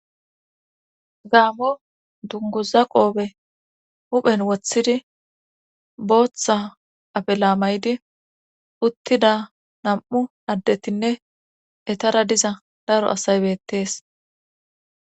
gaammo dunguza qoofe huphen woththidi booththa afe laamaydi uttida nam'u addetinne etara diza daro asay beettees